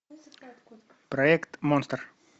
проект монстр